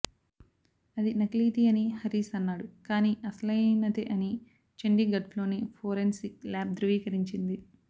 అది నకిలీది అని హరీశ్ అన్నాడు కానీ అసలైనదే అని చండీగఢ్లోని ఫోరెన్సిక్ లాబ్ ధృవీకరించింది